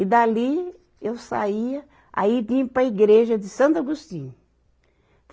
E dali eu saía, aí vinha para a igreja de Santo Agostinho.